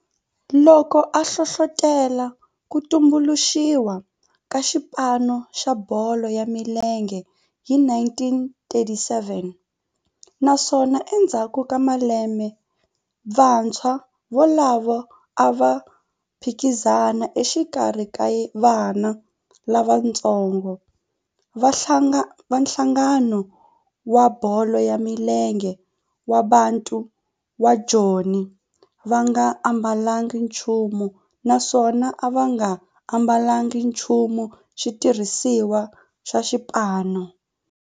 loko a hlohlotela ku tumbuluxiwa ka xipano xa bolo ya milenge hi 1937 naswona endzhaku ka lembe vantshwa volavo a va phikizana exikarhi ka vana lavatsongo va nhlangano wa bolo ya milenge wa Bantu wa Joni va nga ambalanga nchumu naswona va nga ambalanga nchumu xitirhisiwa xa xipano.